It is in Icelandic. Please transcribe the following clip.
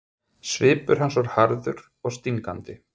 Svipur hans var harður og stingandi.